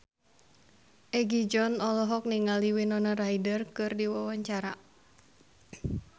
Egi John olohok ningali Winona Ryder keur diwawancara